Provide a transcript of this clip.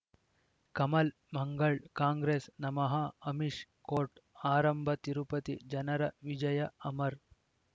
Kamal Mangal Congress ನಮಃ Amish court ಆರಂಭ ತಿರುಪತಿ ಜನರ ವಿಜಯ ಅಮರ್